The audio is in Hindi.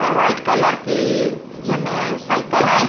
और वाइट कलर की जिन साइकिल है।